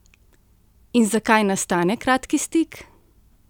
In zakaj nastane kratki stik?